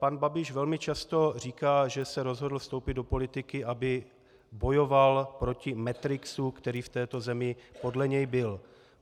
Pan Babiš velmi často říká, že se rozhodl vstoupit do politiky, aby bojoval proti Matrixu, který v této zemi podle něj byl.